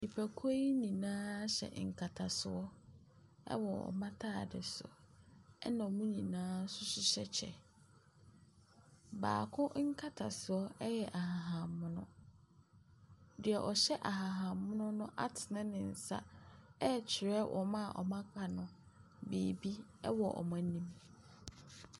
Nnipakuo nyinaa hyɛ nkatasoɔ wɔ wɔn ataade so. Ɛna wɔn nyinaa nso hyehyɛ kyɛ. Baako nkatasoɔ yɛ ahahanmono. Deɛ ɔhyɛ ahahanmono no atene ne nsa rekyerɛ wɔn a aka no biribi wɔ wɔn anim.